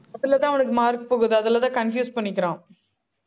அதுலதான் அவனுக்கு mark போகுது. அதுலதான் confuse பண்ணிக்கிறான்